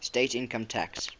state income tax